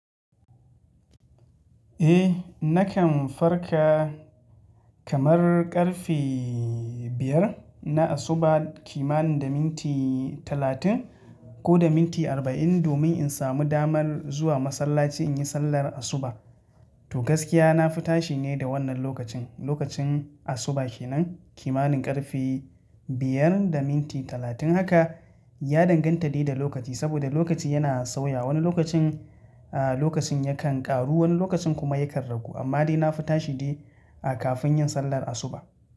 Eh, nakan farka kamar ƙarfe biyar na asuba, kimanin da minti talatin ko da minti arba'in domin in samu dama zuwa masallaci in yi sallar asuba. To gaskiya na fi tashi ne da wannan lokacin, lokacin asuba kenan kimanin ƙarfe biyar da minti talatin. Haka ya danganta ne da lokaci saboda lokaci yana sauya. Wani lokacin, a lokacin yakan ƙaru, wani lokacin kuma yakan ragu. Amma dai na fi tashi dai kafin yin sallar asuba.